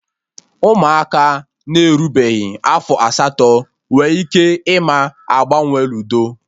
Ụmụaka na-erubeghị afọ asatọ nwe ike ịma agbanwe ludo